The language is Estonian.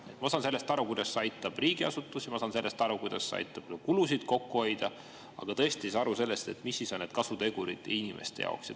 Ma saan aru sellest, kuidas see aitab riigiasutusi, ja ma saan aru sellest, kuidas see aitab kulusid kokku hoida, aga tõesti ei saa ma aru sellest, mis on kasutegurid inimeste jaoks.